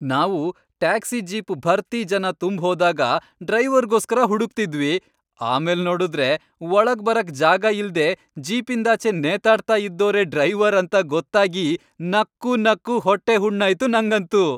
ನಾವು taxi jeep ಭರ್ತಿ ಜನ ತುಂಬ್ ಹೋದಾಗ ಡ್ರೈವರ್ಗೋಸ್ಕರ ಹುಡುಕ್ತಿದ್ವಿ, ಆಮೇಲ್ನೋಡುದ್ರೆ ಒಳಗ್ಬರಕ್ ಜಾಗ ಇಲ್ದೇ ಜೀಪಿಂದಾಚೆ ನೇತಾಡ್ತಾ ಇದ್ದೋರೇ ಡ್ರೈವರ್ ಅಂತ ಗೊತ್ತಾಗಿ ನಕ್ಕೂ ನಕ್ಕೂ ಹೊಟ್ಟೆ ಹುಣ್ಣಾಯ್ತು ನಂಗಂತೂ.